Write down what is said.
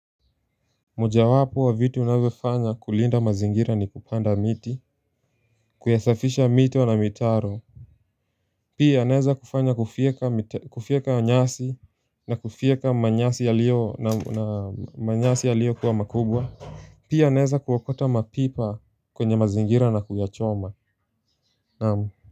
Mojawapo wa vitu unavyofaa za kulinda mazingira ni kupanda miti Kuyasafisha mito na mitaro Pia naeza kufanya kufieka nyasi na kufieka manyasi yalio kuwa makubwa Pia naeza kuokota mapipa kwenye mazingira na kuyachoma.